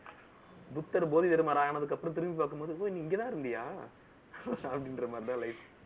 புத்தர் போதி தர்மர் ஆனதுக்கு அப்புறம், திரும்பி பார்க்கும் போது, போய் நீங்கதான் இருந்தியா அப்படின்ற மாதிரிதான் life